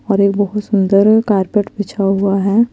और एक बहुत सुन्दर कार्पेट बिछा हुआ है।